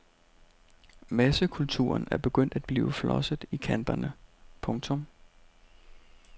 Massekulturen er begyndt at blive flosset i kanterne. punktum